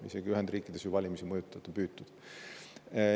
Isegi Ühendriikides ju on valimisi mõjutada püütud.